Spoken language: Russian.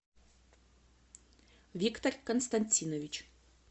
виктор константинович